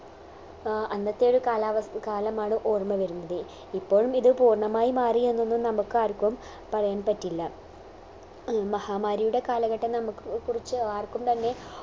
ആഹ് അന്നത്തെ ഒരു കാലാവ കാലമാണ് ഓർമ വരുന്നത് ഇപ്പോഴും ഇത് പൂർണമായി മാറി എന്നൊന്നും നമുക്കാർക്കും പറയാൻ പറ്റില്ല അഹ് മഹാമാരിയുടെ കാലഘട്ടം നമ്മക്ക് കുറിച്ച് ആർക്കും തന്നെ